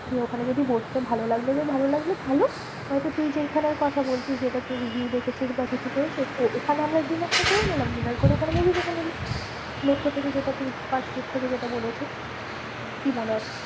দিয়ে ওখানে যদি বসতে ভালো লাগলো তো ভালো লাগলো ভালো, নয়তো তুই যেইখানের কথা বলছিস যেটা তুই review দেখেছিস বা কিছু করেছিস। তো ওখানে আমরা dinner টা করে নিলাম। dinner করে ওখানে movie দেখে নিলাম। মেট্রো থেকে যেটা তুই পার্কস্ট্রিট থেকে যেটা বলেছিস। কি মনে হয়?